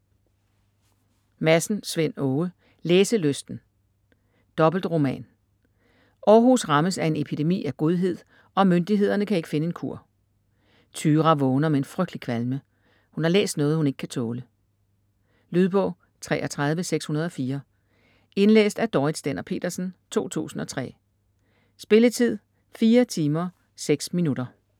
Madsen, Svend Åge: Læselysten Dobbeltroman. Århus rammes af en epidemi af godhed og myndighederne kan ikke finde en kur. Tyra vågner med en frygtelig kvalme; hun har læst noget hun ikke kan tåle. Lydbog 33604 Indlæst af Dorrit Stender-Petersen, 2003. Spilletid: 4 timer, 6 minutter.